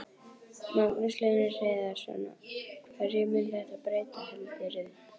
Magnús Hlynur Hreiðarsson: Hverju mun þetta breyta heldurðu?